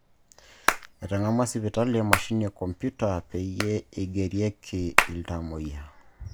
Etang'amua sipitali emachini e kompyuta peyie igerieki iltamuoyia